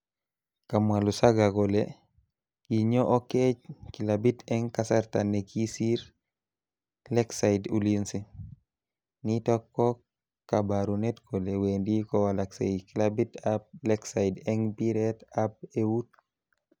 Kamwa Lusaga kole kinyo Oketch clabit eng kasarta nikisir Lakeside Ulinzi . nitok ko kabarunet kole wendi kowalaksei clabit ab Lakeside eng mpiret ab eut.